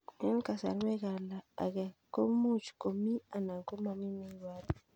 Eng' kasarta ag'e ko much ko mii anan komamii ne ibaru